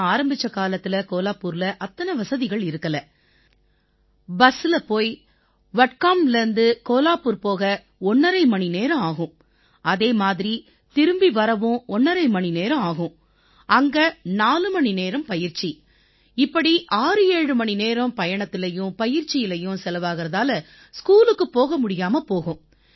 நான் ஆரம்பிச்ச காலத்தில கோலாப்பூர்ல அத்தனை வசதிகள் இருக்கலை பஸ்ஸுல போய் வட்கான்வ்லேர்ந்து கோலாப்பூர் போக ஒண்ணரை மணி நேரம் ஆகும் அதே மாதிரி திரும்பி வரவும் ஒண்ணரை மணிநேரம் ஆகும் அங்க 4 மணிநேரம் பயிற்சி இப்படி 67 மணி நேரம் பயணத்திலயும் பயிற்சியிலயும் செலவாகறதால ஸ்கூலுக்குப் போக முடியாம போகும்